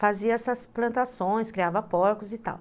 Fazia essas plantações, criava porcos e tal.